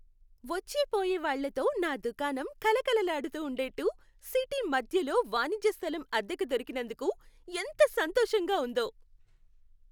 వచ్చేపోయే వాళ్ళతో నా దుకాణం కళకళలాడుతూ ఉండేట్టు సిటీ మధ్యలో వాణిజ్య స్థలం అద్దెకు దొరికినందుకు ఎంత సంతోషంగా ఉందో.